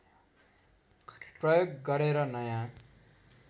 प्रयोग गरेर नयाँ